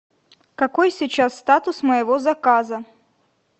какой сейчас статус моего заказа